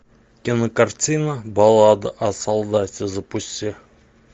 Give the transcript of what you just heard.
кинокартина баллада о солдате запусти